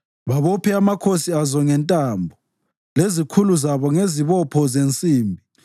babophe amakhosi azo ngentambo lezikhulu zabo ngezibopho zensimbi,